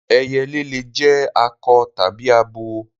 Ẹyẹlé le jẹ́ akọ tàbí abo